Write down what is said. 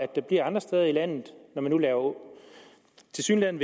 der bliver andre steder i landet når man tilsyneladende